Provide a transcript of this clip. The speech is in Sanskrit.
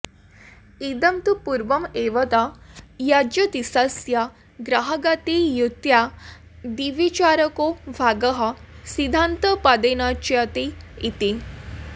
इदं तु पूर्वमेवोक्तं यज्ज्योतिषस्य ग्रहगतियुत्यादिविचारको भागः सिद्धान्तपदेनोच्यते इति